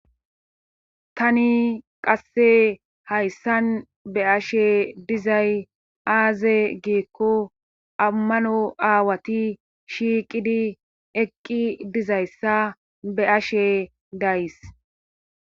tani qasse hayssan be ashe dizay aaze giikko ammano aawati shiiqidi eqqi dizayssa be ashe days